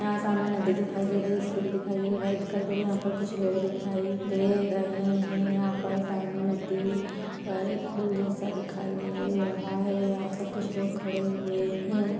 यहाँ सामने नदी दिखाई दे रही है स्कूटी दिखाई दे रही है बाइक दिखाई दे रही है यहाँ पर कुछ लोग दिखाई दे रहे है यहाँ पर सामने नदी- इ पर एक पुल जैसा दिखाई दे रहा है यहाँ पर कुछ लोग खड़े हुए हैं।